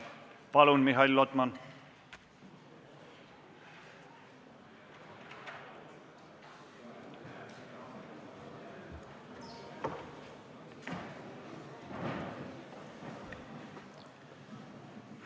Palun, Mihhail Lotman!